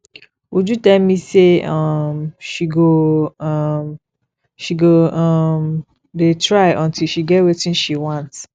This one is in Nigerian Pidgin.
uju tell me say um she go um she go um dey try until she get wetin she want